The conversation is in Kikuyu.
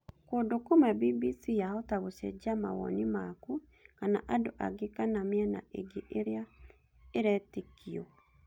Kũndũ kũmwe bbc yahota gũcenjia mawoni maku kana andũ angĩ kana mĩena ĩngĩ ĩrĩa ĩretĩkio